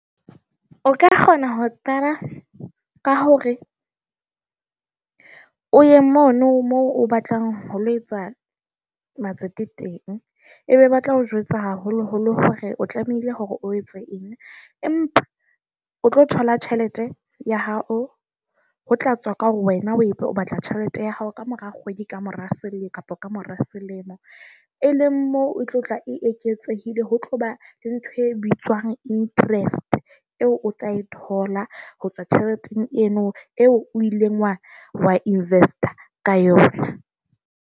O ka kgona ho qala ka hore o ye mono moo o batlang ho lo etsa matsati teng, ebe batla o jwetsa haholoholo hore o tlamehile hore o etse eng. Empa o tlo thola tjhelete ya hao ho tla tswa ka hore wena o itse o batla tjhelete ya hao kamora kgwedi ka mora selemo kapa kamora selemo. Eleng mo o tlo tla e eketsehile ho tloba le ntho e bitswang interest. Eo o tla e thola ho tswa tjheleteng eno eo o ileng wa wa invest-a ka yona.